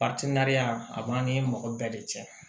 a b'an ni mɔgɔ bɛɛ de cɛ